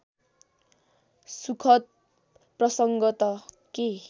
सुखद प्रसङ्ग त के